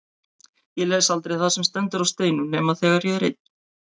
Ég les aldrei það sem stendur á steinum nema þegar ég er ein.